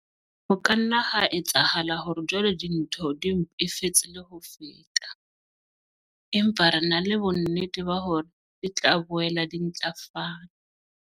Ho ka nna ha etsahala hore jwale dintho di mpefetse le ho feta, empa re na le bonnete ba hore di tla boela di ntlafala.